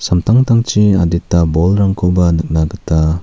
samtangtangchi adita bolrangkoba nikna gita--